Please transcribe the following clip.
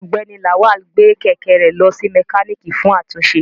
Ọgbẹni Lawal gbe kẹ̀kẹ́ rẹ lọ si mokaniki fun atunṣe